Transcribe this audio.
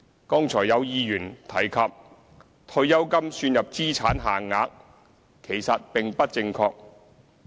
剛才有議員提及退休金算入資產限額，其實並不正確。